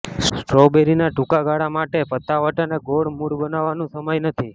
સ્ટ્રોબેરીના ટૂંકા ગાળા માટે પતાવટ અને ગૌણ મૂળ બનાવવાનું સમય નથી